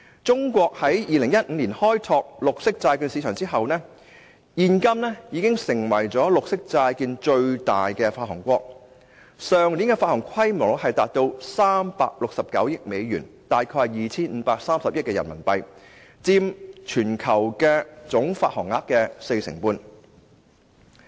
中國在2015年開拓綠色債券市場之後，現今已成為綠色債券的最大發行國，去年的發行規模達到369億美元，即大概 2,530 億元人民幣，佔全球發行總額四成半。